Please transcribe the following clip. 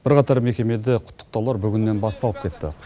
бірқатар мекемеде құттықтаулар бүгіннен басталып кетті